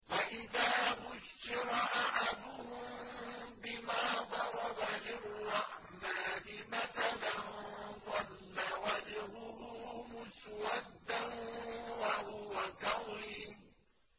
وَإِذَا بُشِّرَ أَحَدُهُم بِمَا ضَرَبَ لِلرَّحْمَٰنِ مَثَلًا ظَلَّ وَجْهُهُ مُسْوَدًّا وَهُوَ كَظِيمٌ